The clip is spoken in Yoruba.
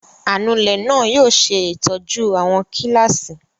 Anulẹ̀ náà yóò ṣe ìtọ́jú àwọn kíláàsì.